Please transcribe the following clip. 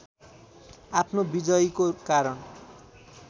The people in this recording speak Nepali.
आफ्नो विजयीको कारण